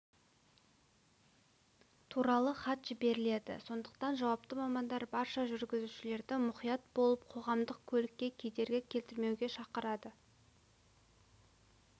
туралы хат жіберіледі сондықтан жауапты мамандар барша жүргізушілерді мұқият болып қоғамдық көлікке кедергі келтірмеуге шақырады